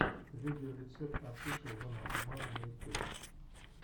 видеорецепт офишел дона омара на ютюбе